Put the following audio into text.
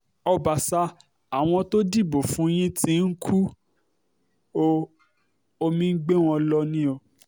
ọbàṣa àwọn tó dìbò fún yín tí ń kú ọ omi ń gbé wọn lọ ni o